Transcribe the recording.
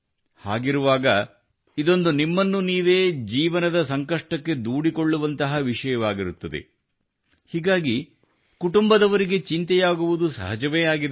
ಹಾಗಿರುವಾಗ ಇದು ಇದೊಂದು ನಿಮ್ಮನ್ನು ನೀವೇ ಜೀವನದ ಸಂಕಷ್ಟಕ್ಕೆ ದೂಡಿಕೊಳ್ಳುವಂತಹ ವಿಷಯವಾಗಿರುತ್ತದೆ ಹೀಗಾಗಿ ಕುಟುಂಬದವರಿಗೆ ಚಿಂತೆಯಾಗುವುದು ಸಹಜವೇ ಆಗಿದೆ